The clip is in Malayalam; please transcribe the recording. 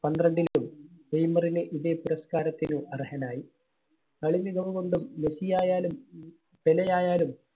പന്ത്രണ്ടിലും നെയ്‌മറിന് ഇതേ പുരസ്‌കാരത്തിന് അർഹനായി. കളി മികവുകൊണ്ടും മെസ്സി ആയാലും പെലെ ആയാലും